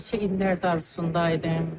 Neçə illərdir arzusunda idim.